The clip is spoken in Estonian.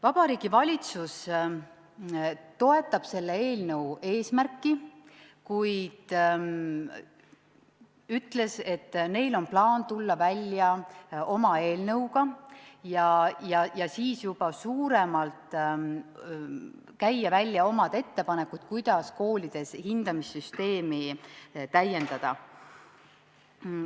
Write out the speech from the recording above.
Vabariigi Valitsus toetab selle eelnõu eesmärki, kuid nad ütlesid, et neil on plaan tulla välja oma eelnõuga ja siis juba suuremalt käia välja oma ettepanekud, kuidas koolides hindamissüsteemi täiendada.